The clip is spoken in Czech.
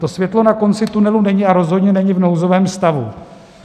To světlo na konci tunelu není a rozhodně není v nouzovém stavu.